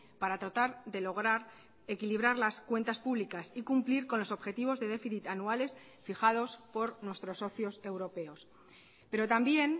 para tratar de lograr equilibrar las cuentas públicas y cumplir con los objetivos de déficit anuales fijados por nuestros socios europeos pero también